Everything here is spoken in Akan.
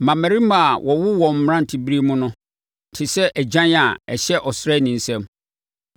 Mmammarima a wɔwo wɔn mmeranteberɛ mu no te sɛ agyan a ɛhyɛ ɔsraani nsam.